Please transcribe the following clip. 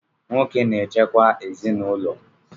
Nwoke na-echekwa ezinụlọ